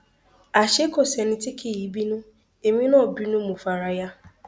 àṣé kò sẹni tí kì í bínú èmi náà bínú mọ fara ya